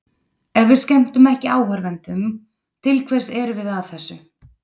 Ef við skemmtum ekki áhorfendum, til hvers erum við að þessu?